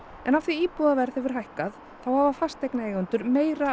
en af því að íbúðaverð hefur hækkað þá hafa fasteignaeigendur meira